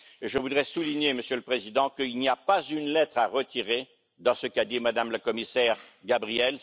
Je voudrais souligner, Monsieur le Président, qu'il n'y a pas une lettre à retirer dans ce qu'a dit Mme la commissaire Gabriel.